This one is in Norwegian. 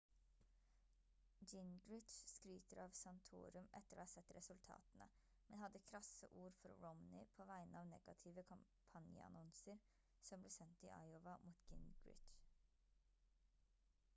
gingrich skryter av santorum etter å ha sett resultatene men hadde krasse ord for romney på vegne av negative kampanjeannonser som ble sendt i iowa mot gingrich